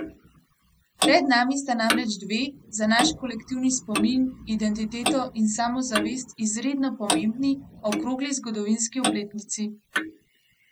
Pred nami sta namreč dve, za naš kolektivni spomin, identiteto in samozavest, izredno pomembni, okrogli zgodovinski obletnici.